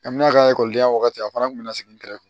Amina ka ekɔlidenya waati a fana kun bɛ na sigi nɛgɛ